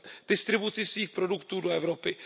distribuci svých produktů do Evropy.